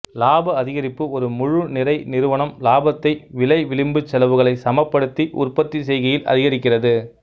இலாப அதிகரிப்பு ஒரு முழு நிறை நிறுவனம் இலாபத்தை விலை விளிம்புச் செலவுகளை சமப்படுத்தி உற்பத்திச் செய்கையில் அதிகரிக்கிறது